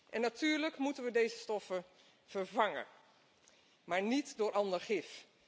En natuurlijk moeten we deze stoffen vervangen, maar niet door ander gif.